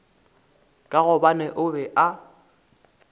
ka gobane a be a